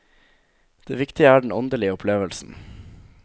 Det viktige er den åndelige opplevelsen.